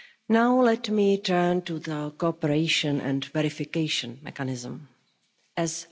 Now let me turn to the cooperation and verification mechanism As